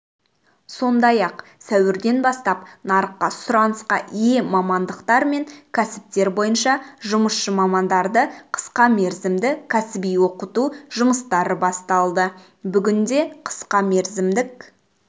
сондай-ақ сәуірден бастап нарықта сұранысқа ие мамандықтар мен кәсіптер бойынша жұмысшы мамандарды қысқа мерзімді кәсіби оқыту жұмыстары басталды бүгінде қысқа мерзімдік